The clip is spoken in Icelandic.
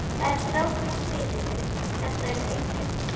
Það er strákur í spilinu. þetta eru einkennin!